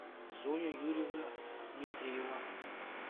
зоя юрьевна дмитриева